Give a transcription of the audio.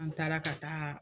An taara ka taa